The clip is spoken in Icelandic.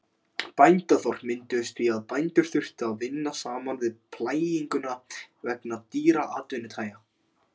Bændaþorp mynduðust því að bændur þurftu að vinna saman við plæginguna vegna dýrra atvinnutækja.